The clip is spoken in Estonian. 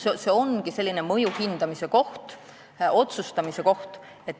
See ongi selline mõju hindamise ja otsustamise koht.